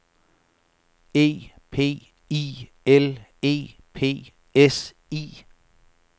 E P I L E P S I